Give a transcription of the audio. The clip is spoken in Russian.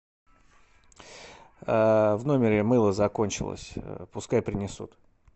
в номере мыло закончилось пускай принесут